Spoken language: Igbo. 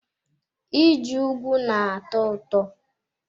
Ije ùgwù na-atọ ụtọ.